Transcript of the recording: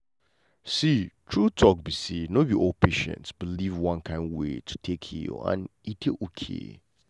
see true um be say no be all patients believe one kind way to take heal and e dey okay.